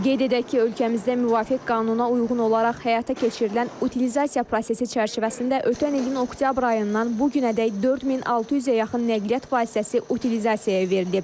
Qeyd edək ki, ölkəmizdə müvafiq qanuna uyğun olaraq həyata keçirilən utilizasiya prosesi çərçivəsində ötən ilin oktyabr ayından bu günədək 4600-ə yaxın nəqliyyat vasitəsi utilizasiyaya verilib.